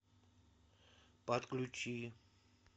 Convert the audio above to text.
подключи